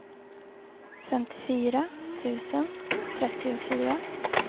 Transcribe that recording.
femtiofyra tusen trettiofyra